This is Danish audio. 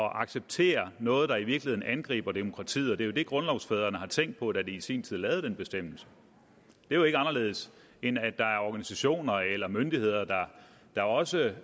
at acceptere noget der i virkeligheden angriber demokratiet det er jo det grundlovsfædrene tænkte på da de i sin tid lavede den bestemmelse det er jo ikke anderledes end at der er organisationer eller myndigheder der også